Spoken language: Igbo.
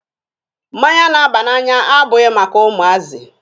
Mmanya na-aba n'anya abụghị maka ụmụazị.